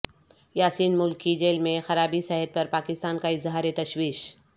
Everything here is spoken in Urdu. یاسین ملک کی جیل میں خرابی صحت پر پاکستان کا اظہار تشویش